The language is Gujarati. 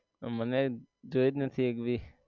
મને જોઈ જ નથી એક બી